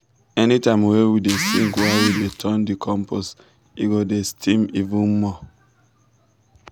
anytime we dey sing while we dey turn the compost e go dey steam even more.